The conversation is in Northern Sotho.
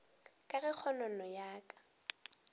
ka ge kgonono ya ka